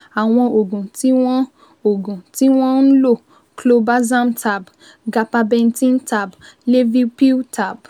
Àwọn oògùn tí wọ́n oògùn tí wọ́n ń lò ni clobazam tab, gabapentin tab, levipil tab